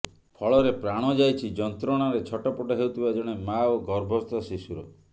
ଫଳରେ ପ୍ରାଣ ଯାଇଛି ଯନ୍ତ୍ରଣାରେ ଛଟପଟ ହେଉଥିବା ଜଣେ ମାଆ ଓ ଗର୍ଭସ୍ଥ ଶିଶୁର